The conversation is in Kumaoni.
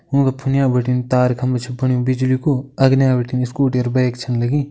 ओंका फुनिया बटिन तार खंबा छु फण्युं बिजली कु अगने बटिन स्कूटी अर बैक छन लगीं।